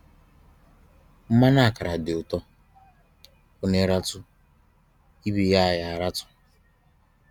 Mmanụ ákàrà dị ụtọ; Onye ratụ́, ibe ya a ya a ratụ́